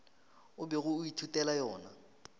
o bego o ithutela yona